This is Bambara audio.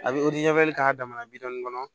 A bɛ k'a damana bidɔnnin kɔnɔ